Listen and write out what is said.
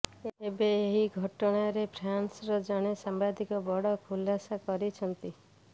ଏବେ ଏହି ଘଟଣାରେ ଫ୍ରାନ୍ସର ଜଣେ ସାମ୍ବାଦିକ ବଡ ଖୁଲାସା କରିଛନ୍ତି